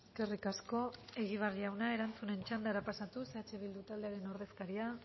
eskerrik asko egibar jauna erantzunen txandara pasatuz eh bildu taldearen ordezkaria